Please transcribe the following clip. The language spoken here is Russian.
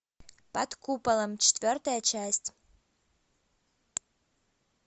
под куполом четвертая часть